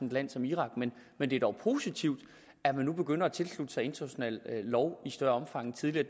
et land som irak men det er dog positivt at man nu begynder at tilslutte sig international lov i større omfang end tidligere